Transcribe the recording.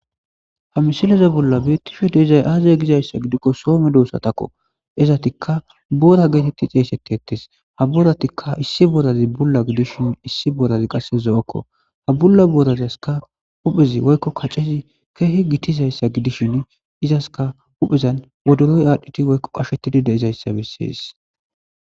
H misileza bolla betishe dizay aaze gizaysa gidikon so medosatako . Izetika boora geteti xeysetetesi . Ha booratika issi boorazi Bula gidishn issi borzi qase zo'oko. Ha Bula boorazaska huphezi woyko kacezi keeh gitizaysa gidishni izaka huphezan woddoroy adhid woyko qachetid de'izaysa beses.